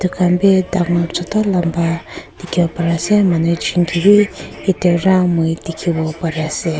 Tai khan beh dangor chutu lamba dekhe po pare ase manu ekjun kebeh yate ra moi dekhe bo pare ase.